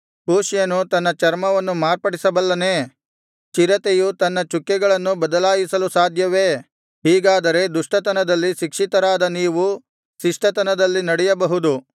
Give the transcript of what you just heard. ಕೂಷ್ಯನು ತನ್ನ ಚರ್ಮವನ್ನು ಮಾರ್ಪಡಿಸಬಲ್ಲನೇ ಚಿರತೆಯು ತನ್ನ ಚುಕ್ಕೆಗಳನ್ನು ಬದಲಾಯಿಸಲು ಸಾಧ್ಯವೇ ಹೀಗಾದರೆ ದುಷ್ಟತನದಲ್ಲಿ ಶಿಕ್ಷಿತರಾದ ನೀವು ಶಿಷ್ಟತನದಲ್ಲಿ ನಡೆಯಬಹುದು